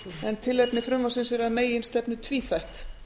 en tilefni frumvarpsins er að meginstefnu tvíþætt